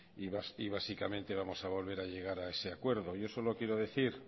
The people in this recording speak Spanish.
y básicamente vamos a volver a llegar a ese acuerdo yo solo quiero decir